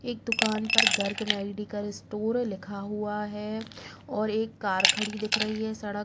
एक दुकान पर गर्ग मेडिकल स्टोर लिखा हुआ है और एक कार खड़ी दिख रही है सड़क --